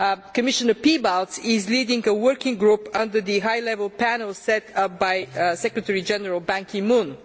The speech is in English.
Commissioner Piebalgs is leading a working group under the high level panel set up by Secretary General Ban Ki moon.